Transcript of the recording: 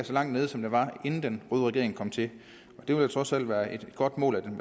så langt ned som den var inden den røde regering kom til det vil trods alt være et godt mål at den